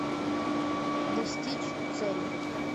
достичь цели